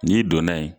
N'i donna yen